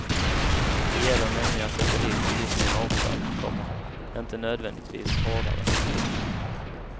Det gäller nämligen att sätta dit bilisterna oftare, komma inte nödvändigtvis hårdare. punkt